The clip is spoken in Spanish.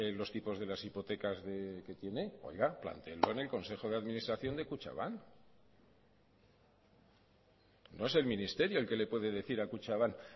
los tipos de las hipotecas que tiene oiga plantéenlo el consejo de administración de kutxabank no es el ministerio el que le puede decir a kutxabank